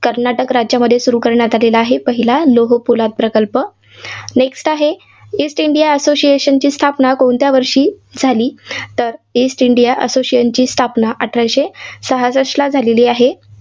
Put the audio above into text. कर्नाटक राज्यामध्ये सुरू करण्यात आलेला आहे पाहिला लोहपोलाद प्रकल्प. next आहे. ईस्ट इंडिया असोसिएशनी स्थापना कोणत्या वर्षी झाली? तर ईस्ट इंडिया असोसिएशनची स्थापना अठराशे सहासष्ठला झालेली आहे.